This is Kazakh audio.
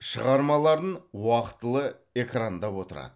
шығармаларын уақытылы экрандап отырады